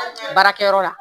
Baarakɛyɔrɔ la